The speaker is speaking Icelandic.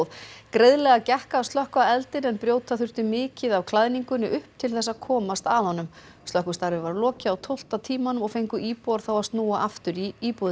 greiðlega gekk að slökkva eldinn en brjóta þurfti mikið af klæðningunni upp til þess að komast að honum slökkvistarfi var lokið á tólfta tímanum og fengu íbúar þá að snúa aftur í íbúðir